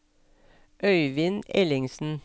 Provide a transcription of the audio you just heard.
Øivind Ellingsen